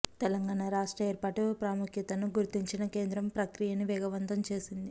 తెలంగాణ రాష్ట్ర ఏర్పాటు ప్రాముఖ్యతను గుర్తించిన కేంద్రం ప్రక్రియను వేగవంతం చేసింది